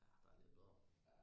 Ja der er lidt bedre